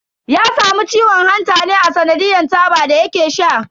Ya samu ciwon hanta ne a tsanadiyan taba da yake sha.